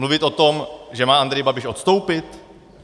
Mluvit o tom, že má Andrej Babiš odstoupit?